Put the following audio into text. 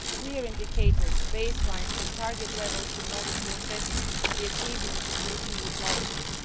We need clear indicators, base lines and target levels in order to assess the achievements of these EU policies.